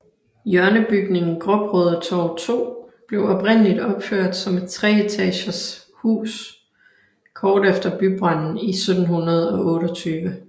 Hjørnebygningen Gråbrødretorv 2 blev oprindeligt opført som et treetages hus kort efter bybranden i 1728